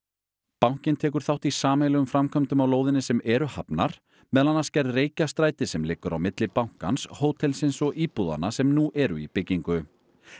bankinn tekur þátt í sameiginlegum framkvæmdum á lóðinni sem eru hafnar meðal annars gerð Reykjastrætis sem liggur á milli bankans hótelsins og íbúðanna sem nú eru í byggingu